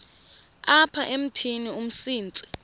apha emithini umsintsi